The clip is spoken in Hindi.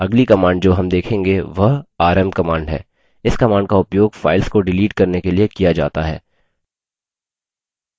अगली command जो rm देखेंगे वह rm command है इस command का उपयोग files को डिलीट करने के लिए किया जाता है